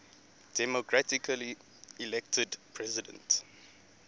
democratically elected president